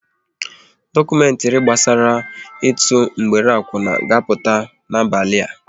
Dokumentri gbasara ịtụ mgbere akwuna ga-apụta n'abalị a